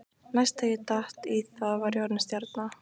Næst þegar ég datt í það var ég orðinn stjarna.